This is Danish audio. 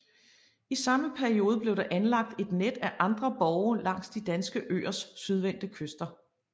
I samme periode blev der anlagt et net af andre borge langs de danske øers sydvendte kyster